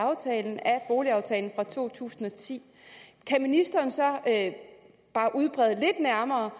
boligaftalen fra to tusind og ti kan ministeren så bare udbrede lidt nærmere